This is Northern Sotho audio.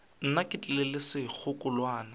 nna ke tlile le sekgekolwana